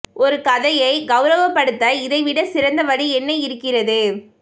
ஒரு கதையைக் கௌரவப்படுத்த இதை விடச் சிறந்த வழி என்ன இருக்கிறது